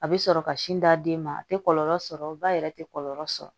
A bɛ sɔrɔ ka sin d'aden ma a tɛ kɔlɔlɔ sɔrɔ ba yɛrɛ tɛ kɔlɔlɔ sɔrɔ